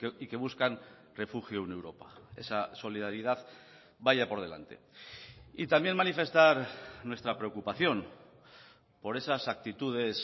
y que buscan refugio en europa esa solidaridad vaya por delante y también manifestar nuestra preocupación por esas actitudes